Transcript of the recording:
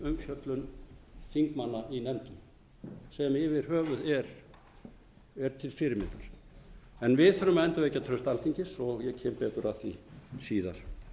umfjöllun þingmanna í nefndum sem yfir höfuð er til fyrirmyndar en við þurfum að endurvekja traust alþingis og ég kem betur að síðar